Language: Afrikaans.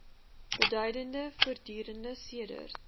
beduidende vordering sedert